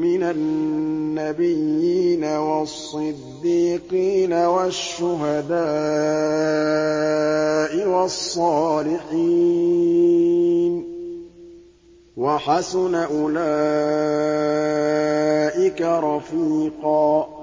مِّنَ النَّبِيِّينَ وَالصِّدِّيقِينَ وَالشُّهَدَاءِ وَالصَّالِحِينَ ۚ وَحَسُنَ أُولَٰئِكَ رَفِيقًا